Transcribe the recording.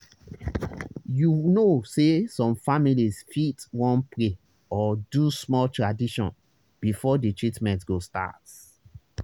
you know say some families fit wan pray or do small tradition before the treatment go start.